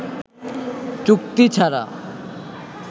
চুক্তি ছাড়া